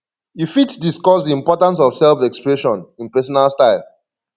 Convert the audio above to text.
you fit discuss di importance of selfexpression in personal style